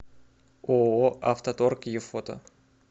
ооо авто торг е фото